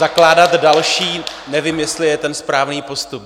Zakládat další, nevím, jestli je ten správný postup.